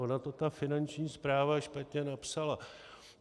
Ona to ta Finanční správa špatně napsala.